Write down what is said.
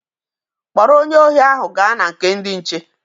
Kpọrọ onye ohi ahụ gaa na nke ndị nche.